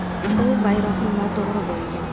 U bayroqni noto‘g‘ri bo‘yagan.